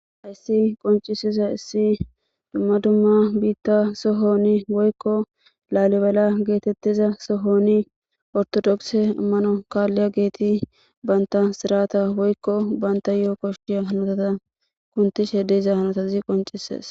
Hayssi qoncisiza issi dumma dumma biitta sohoni woykko laalibala geetettiza sohoni ortodokse immano kaalliya geeti baynta sirata woykko banta yo7o koshshiya hanotata kuntishe deiza hanotazi qoncises.